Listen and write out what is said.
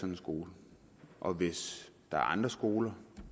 en skole og hvis der er andre skoler